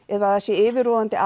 eða það sé yfirvofandi